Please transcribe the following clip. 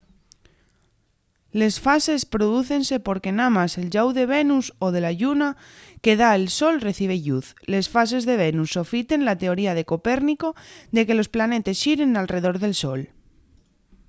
les fases prodúcense porque namás el llau de venus o de la lluna que da al sol recibe lluz. les fases de venus sofiten la teoría de copérnico de que los planetes xiren alredor del sol